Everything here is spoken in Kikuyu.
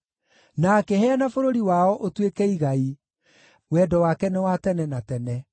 na akĩheana bũrũri wao ũtuĩke igai, Wendo wake nĩ wa tene na tene.